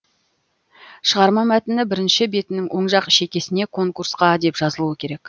шығарма мәтіні бірінші бетінің оң жақ шекесіне конкурсқа деп жазылуы керек